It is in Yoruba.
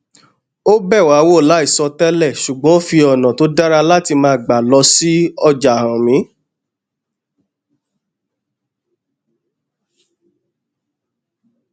ó bẹ wá wò láìsọ tẹlẹ ṣùgbón ó fi ònà tó dára láti máa gbà lọ sí ọjà hàn mí